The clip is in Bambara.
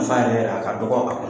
Nafa yɛrɛ yɛrɛ a ka dɔgɔ a kɔnɔ.